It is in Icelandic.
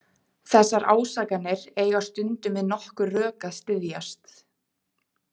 Þessar ásakanir eiga stundum við nokkur rök að styðjast.